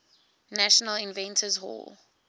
national inventors hall